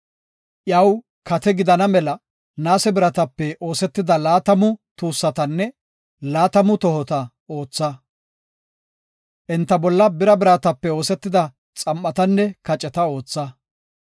Iyaw kate gidana mela naase biratape oosetida laatamu tuussatanne laatamu tohota ootha. Enta bolla bira biratape oosetida xam7atanne kaceta ootha.